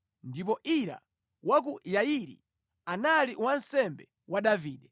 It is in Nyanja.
ndipo Ira wa ku Yairi anali wansembe wa Davide.